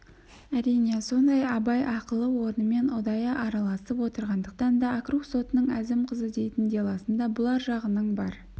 әрине сондай абай ақылы орнымен ұдайы араласып отырғандықтан да округ сотының әзім қызы дейтін делосында бұлар жағының бар